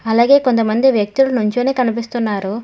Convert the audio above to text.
అలాగే కొంతమంది వ్యక్తులు నుంచొని కనిపిస్తున్నారు.